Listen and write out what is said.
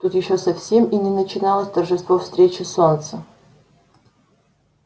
тут ещё совсем и не начиналось торжество встречи солнца